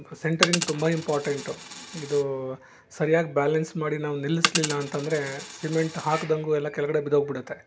Centring ತುಂಬ important ಇದು ಸರಿಯಾಗ್ ಬ್ಯಾಲೆನ್ಸ್ ಮಾಡ್ಲಿಲ್ಲ ನಿಲ್ಸ್ಲಿಲ್ಲ ಅಂತ ಅಂದ್ರೆ ಸಿಮೆಂಟ್ ಹಾಕ್ದಂಗ ಎಲ್ಲ ಕೆಳಗಡೆ ಬಿದ್ದೋಗ್ಬಿಡುತ್ತೆ.